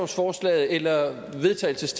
forslaget til vedtagelse